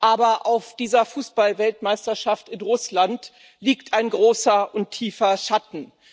Aber auf dieser Fußballweltmeisterschaft in Russland liegt ein großer und tiefer Schatten.